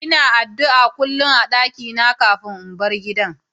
lna addu'a kullum a'dakina kafin in bar gidan.